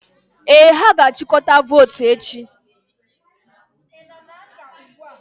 Ee, ha ga-achịkọta votu echi.